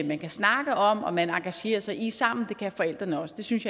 man kan snakke om og man engagerer sig i sammen det kan forældrene også det synes